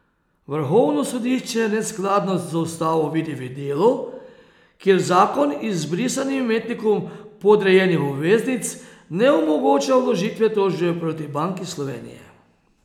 Vrhovno sodišče neskladnost z ustavo vidi v delu, kjer zakon izbrisanim imetnikom podrejenih obveznic ne omogoča vložitve tožbe proti Banki Slovenije.